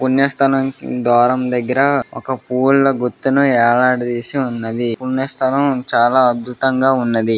పుణ్య స్థలం కి ద్వారం దగ్గర ఒక పూల గుత్తును ఎలాడ దీసి ఉన్నది పుణ్య స్థలం చాలా అధ్భుతమంగా ఉన్నది.